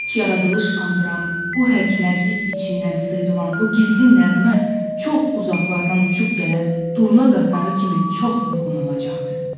ilk yaradılışı andıran bu hərc-mərclik içindən sıyrılan o gizli nəğmə çox uzaqlardan uçub gələn durna qatarı kimi çox yorğun olacaqdı.